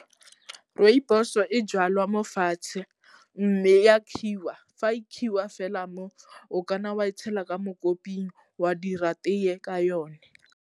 Rooibos-o e jalwa mo fatshe mme ya fa e fela mo, o ka nna wa e tshela ka mo koping wa dira tee ka yone.